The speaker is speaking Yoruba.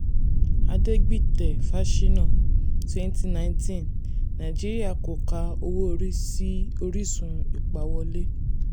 adegbite/fasina ( twenty nineteen ): nàìjíríà kò ka owó orí sí orísun ìpawówọlé.